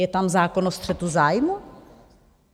Je tam zákon o střetu zájmů?